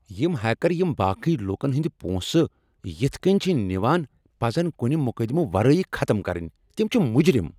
یم ہیکر یم باقی لوٗکن ہند پونٛسہٕ یتھ کٔنۍ چھ نوان پزن کنہ مقدمہٕ ورٲے ختم کرنۍ تم چھ مجرم۔